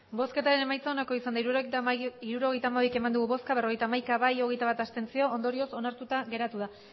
emandako botoak hirurogeita hamabi bai berrogeita hamaika abstentzioak hogeita bat ondorioz onartuta geratu da